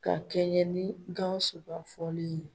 Ka kɛɲɛ ni Gawusu ka fɔlen ye.